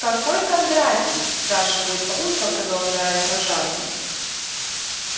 какой кондратий спрашивает папулька продолжая сражаться